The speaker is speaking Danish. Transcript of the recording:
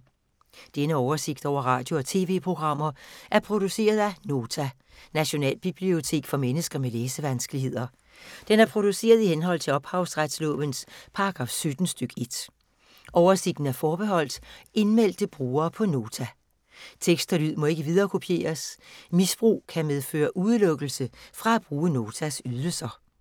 Denne oversigt over radio og TV-programmer er produceret af Nota, Nationalbibliotek for mennesker med læsevanskeligheder. Den er produceret i henhold til ophavsretslovens paragraf 17 stk. 1. Oversigten er forbeholdt indmeldte brugere på Nota. Tekst og lyd må ikke viderekopieres. Misbrug kan medføre udelukkelse fra at bruge Notas ydelser.